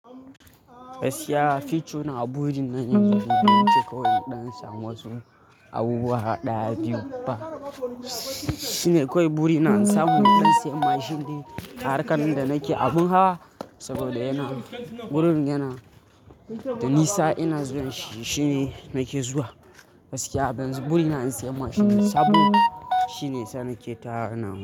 Gaskiya, future na a burin nan yanzu bai wuce kawai in ɗan samu wasu abubuwa ɗaya biyu ba. Shine kawai buri na in samu in dan saye mashin dai harkar nan da nake abun hawa saboda yana, wurin yana, da nisa ina zuwa shi shine nake zuwa. Gaskiya yanzu buri na in saye mashin sabo shine yasa nake ta wannan abun.